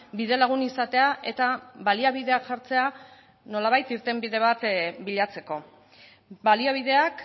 bidelagun izatea eta baliabideak jartzea nolabait irtenbide bat bilatzeko baliabideak